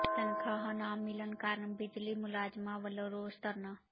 ਤਨਖ਼ਾਹਾਂ ਨਾ ਮਿਲਣ ਕਾਰਨ ਬਿਜਲੀ ਮੁਲਾਜ਼ਮਾਂ ਵਲੋਂ ਰੋਸ ਧਰਨਾ